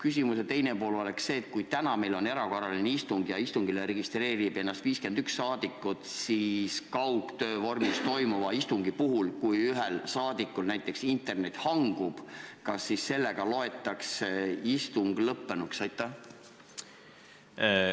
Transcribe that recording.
Küsimuse teine pool on see, et kui meil oleks täna erakorraline istungjärk kaugtöö vormis ja end registreeriks 51 saadikut, ent ühel saadikul näiteks internet hangub, kas siis loetaks istungjärk lõppenuks?